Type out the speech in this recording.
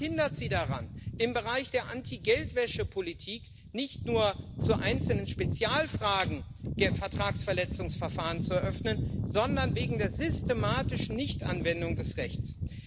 Was hindert Sie daran, im Bereich der Anti Geldwäsche Politik nicht nur zu einzelnen Spezialfragen Vertragsverletzungsverfahren zu eröffnen, sondern wegen der systematischen Nichtanwendung des Rechts?